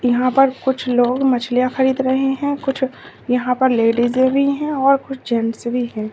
यहां पर कुछ लोग मछलियां खरीद रहे है कुछ यहां पर लेडीज भी हैं और कुछ जेंट्स भी हैं।